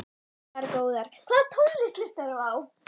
Margar góðar Hvaða tónlist hlustar þú á?